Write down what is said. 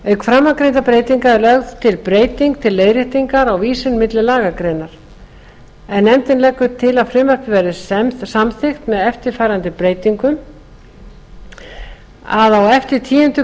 framangreindra breytinga er lögð til breyting til leiðréttingar á vísun milli lagagreina en nefndin leggur til að frumvarpið verði samþykkt með eftirfarandi breytingum á eftir tíundu